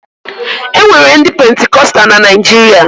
E nwere ndị Pentikọsta na Naịjirịa